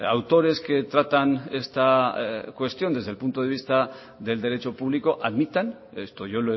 autores que tratan esta cuestión desde el punto de vista del derecho público admitan esto yo